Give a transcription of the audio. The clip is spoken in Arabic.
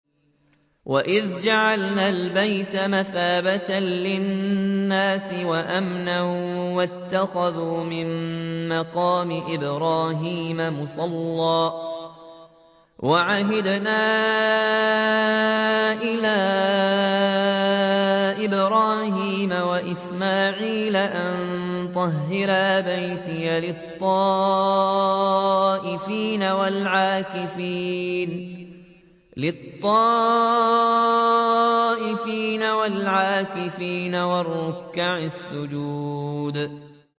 وَإِذْ جَعَلْنَا الْبَيْتَ مَثَابَةً لِّلنَّاسِ وَأَمْنًا وَاتَّخِذُوا مِن مَّقَامِ إِبْرَاهِيمَ مُصَلًّى ۖ وَعَهِدْنَا إِلَىٰ إِبْرَاهِيمَ وَإِسْمَاعِيلَ أَن طَهِّرَا بَيْتِيَ لِلطَّائِفِينَ وَالْعَاكِفِينَ وَالرُّكَّعِ السُّجُودِ